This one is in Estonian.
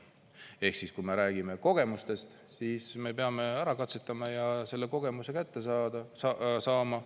Ehk siis, kui me räägime kogemustest, siis me peame ära katsetama ja selle kogemuse kätte saama.